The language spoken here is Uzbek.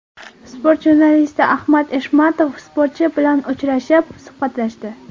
Sport jurnalisti Ahmad Eshmatov sportchi bilan uchrashib, suhbatlashdi.